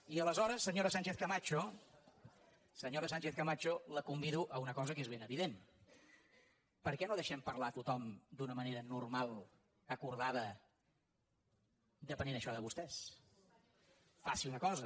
i aleshores senyora sánchez camacho senyora sánchez camacho la convido a una cosa que és ben evident per què no deixem parlar a tothom d’una manera normal acordada depenent això de vostès faci una cosa